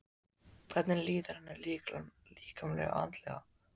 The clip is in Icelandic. Hvernig líður henni líkamlega og andlega?